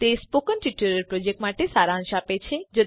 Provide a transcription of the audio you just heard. તે spoken tutorial પ્રોજેક્ટનો સારાંશ આપે છે